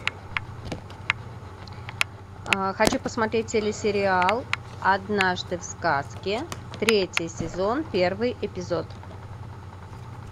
хочу посмотреть телесериал однажды в сказке третий сезон первый эпизод